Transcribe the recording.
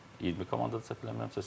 20 komandadır səhv eləmirəmsə.